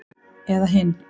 Eða hinn